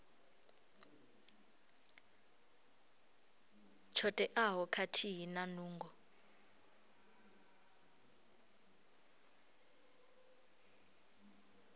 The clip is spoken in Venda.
tsho teaho khathihi na nungo